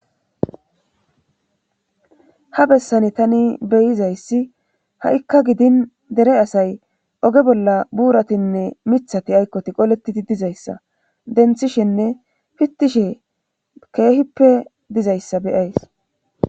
Ha bessani tani beyizayssi ha'ikka gidin dere asay oge bolla buuratinne mithati aykkoti qoletidi dizayssa denthishinne pittishe keehippe dizayssa beyays